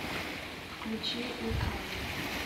включи рикавери